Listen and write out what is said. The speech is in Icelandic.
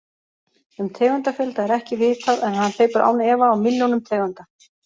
Um tegundafjölda er ekki vitað en hann hleypur án efa á milljónum tegunda.